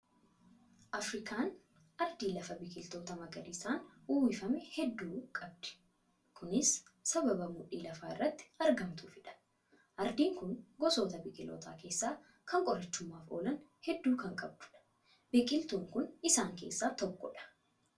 Afirikaan ardii lafa biqiltoota magariisaan uwwifaman hedduu qabdi. Kunis sababa mudhii lafaa irratti argamtuufidha. Ardiin kun gosoota biqiltoota keessaa kan qorichummaaf oolan hedduu kan qabdudha. Biqiltuun kun isaan keessaa tokkodha.